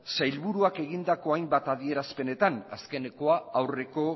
sailburuak egindako hainbat adierazpenetan azkenekoa aurreko